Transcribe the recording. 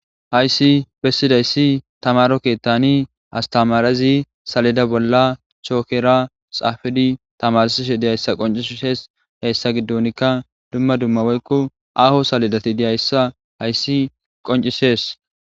"Hayssi besizaysi tamaaro keetan astamarezi saleda bolla chokera xaafidi tamarsishe dizayssa qonccises, Haysa giddonkka dumma dumma woykko aaho saledati dizayssa haysi qonccises."